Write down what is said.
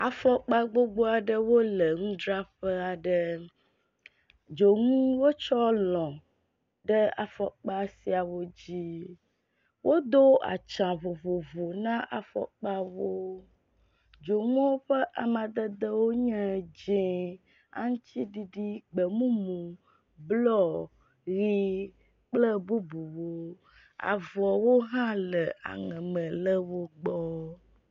Afɔkpa gbogbo aɖewo le nudzraƒe aɖe. Dzonu wotsɔ lɔ̃ ɖe afɔkpa siawo dzi. Wodo atsa vovovo na afɔkpawo. Dzonuawo ƒe amadede nye dzie, aŋtsiɖiɖi, gbemumu, blɔ, ʋi kple bubuwo. Avɔwo hã le aŋeme le wo gbɔ.